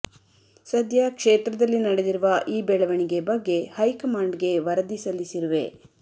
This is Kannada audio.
ಸದ್ಯ ಕ್ಷೇತ್ರದಲ್ಲಿ ನಡೆದಿರುವ ಈ ಬೆಳವಣಿಗೆ ಬಗ್ಗೆ ಹೈಕಮಾಂಡ್ಗೆ ವರದಿ ಸಲ್ಲಿಸಿರುವೆ